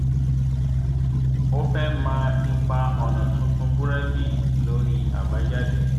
ó fẹ́ mọ ipa ọ̀nà tuntun búrẹ́dì lórí àbájáde